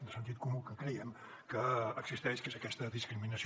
de sentit comú que creiem que existeix que és aquesta discriminació